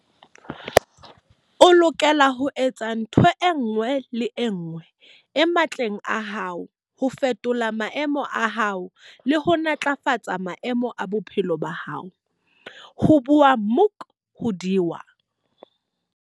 O lokela ho etsa ntho e nngwe le e nngwe e matleng a hao ho fetola maemo a hao le ho ntlafatsa maemo a bophelo ba hao, ho bua Muk hodiwa.